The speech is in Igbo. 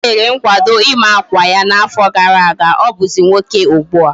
O mere nkwado ima akwa ya na afo gara aga. Obuzi nwoke ugbua